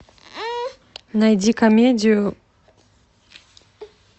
найди комедию